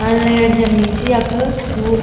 अ लैट जली च यख खूब --